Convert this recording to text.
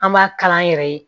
An b'a kala an yɛrɛ ye